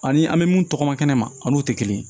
Ani an bɛ mun tɔgɔ ma kɛnɛ ma an n'u tɛ kelen ye